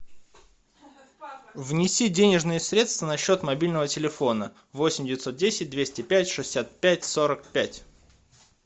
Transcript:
внеси денежные средства на счет мобильного телефона восемь девятьсот десять двести пять шестьдесят пять сорок пять